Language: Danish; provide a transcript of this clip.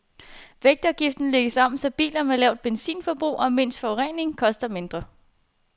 Vægtafgiften lægges om, så biler med lavt benzinforbrug og mindst forurening koster mindre.